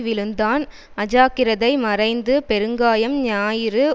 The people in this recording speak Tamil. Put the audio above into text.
விழுந்தான் அஜாக்கிரதை மறைந்து பெருங்காயம் ஞாயிறு